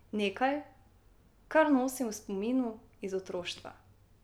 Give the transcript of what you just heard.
Nekaj, kar nosim v spominu iz otroštva.